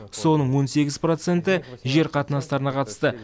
соның он сегіз проценті жер қатынастарына қатысты